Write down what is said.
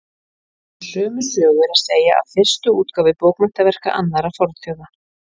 Og sömu sögu er að segja af fyrstu útgáfu bókmenntaverka annarra fornþjóða.